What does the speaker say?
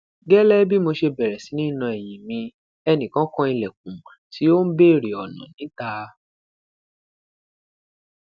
gẹlẹ bi mo ṣe bẹrẹ si ni na ẹyin mi ẹnikan kan ilẹkun ti o n bere ọna nita